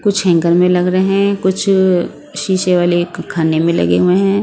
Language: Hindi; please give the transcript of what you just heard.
कुछ हैंकर में लग रहे हैं कुछ अ शीशे वाले ख खाने में लगे हुए हैं।